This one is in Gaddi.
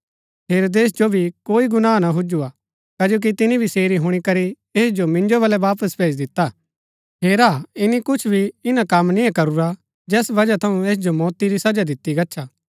हेरोदेस जो भी कोई गुनाह ना हुज्‍जु हा कजो कि तिनी भी सेरी हुणी करी ऐस जो मिन्जो बल्लै वापस भेजी दिता हेरा ईनी कुछ भी ईना कम निंआ करूरा जैस बजहा थऊँ ऐस जो मौती री सजा दितिआ गच्छा